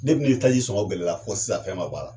Depi ni taji sɔngɔ gɛlɛya la fo sisan fɛn man b'a la.